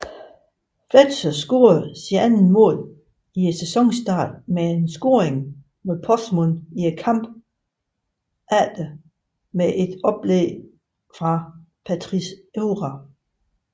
Fletcher scorede sit andet mål i sæsonstarten med scoringen mod Portsmouth i kampen efter med et oplæg fra Patrice Evra